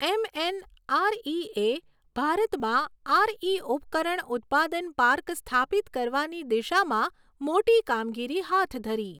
એમએનઆરઈએ ભારતમાં આરઈ ઉપકરણ ઉત્પાદન પાર્ક સ્થાપિત કરવાની દિશામાં મોટી કામગીરી હાથ ધરી